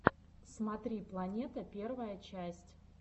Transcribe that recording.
смотри планета первая часть